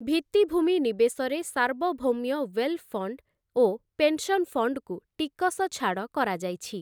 ଭିତ୍ତିଭୂମି ନିବେଶରେ ସାର୍ବଭୌମ୍ୟ ୱେଲ୍ ଫଣ୍ଡ ଓ ପେନସନ୍ ଫଣ୍ଡକୁ ଟିକସଛାଡ଼ କରାଯାଇଛି ।